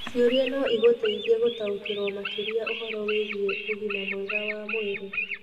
Ciũria no igũteithie gũtaũkĩrũo makĩria ũhoro wĩgiĩ ũgima mwega wa mwĩrĩ.